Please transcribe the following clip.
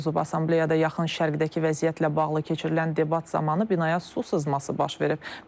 Assambleyada yaxın Şərqdəki vəziyyətlə bağlı keçirilən debat zamanı binaya su sızması baş verib.